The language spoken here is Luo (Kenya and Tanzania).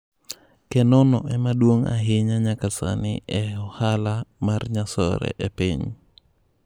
Kenono ema duong' ahinya nyaka sani e ohala mar nyasore e piny.